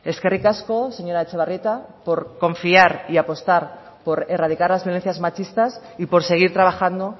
eskerrik asko señora etxebarrieta por confiar y apostar por erradicar las violencias machistas y por seguir trabajando